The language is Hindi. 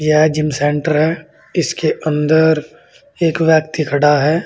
यह जिम सेंटर है इसके अंदर एक व्यक्ति खड़ा है।